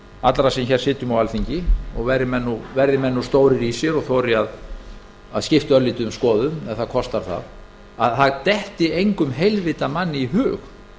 allra sem hér sitjum á alþingi og verði menn nú stórir í sér og þori að skipta örlítið um skoðun ef það kostar það að það detti engum heilvita manni í hug